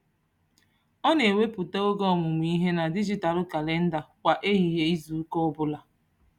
Ọ na-ewepụta oge ọmụmụ ihe na dijitalụ kalịnda kwa ehihie izuụka ọbụla.